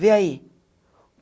Vê aí.